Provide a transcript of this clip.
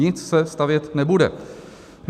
Nic se stavět nebude.